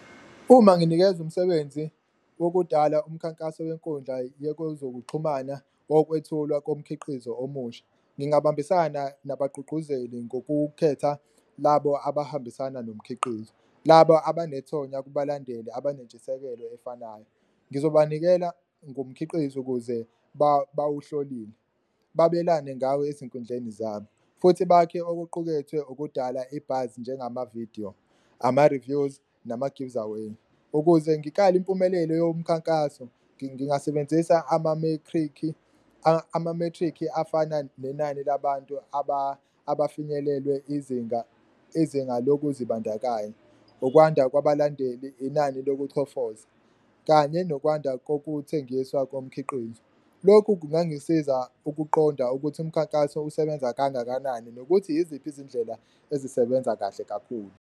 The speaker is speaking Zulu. Uma nginikezwa umsebenzi wakudala umkhankaso wenkundla yekozokuxhumana wokwethulwa komkhiqizo omusha, ngingabambisana nabagqugquzeli ngokukhetha labo abahambisana nomkhiqizo, laba abanethonya kubalandeli abanentshisekelo efanayo. Ngizobanikela ngomkhiqizo ukuze bawuhlolile, babelane ngawo ezinkundleni zabo futhi bakhe okuqukethwe okudala i-buzz njengamavidiyo, ama-reviews, nama-gives away. Ukuze ngikale impumelelo yomkhankaso ngingasebenzisa amamethrikhi, amamethrikhi afana nenani labantu abafinyelelwe izinga izinga lokuzibandakanya, ukwanda kwabalaleli, inani lokuchofoza kanye nokwanda kokuthengiswa komkhiqizo. Lokhu kungangisiza ukuqonda ukuthi umkhankaso usebenza kangakanani nokuthi yiziphi izindlela ezisebenza kahle kakhulu.